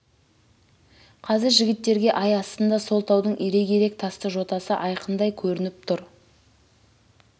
қазір жігіттерге ай астында сол таудың ирек-ирек тасты жотасы айқындай көрініп тұр